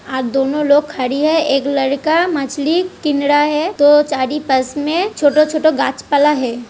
आ दोनों लोक खडी है। एक लड़का मछली किनरा है। दो चाडी पास में छोटो छोटो गाछ पाला है। ।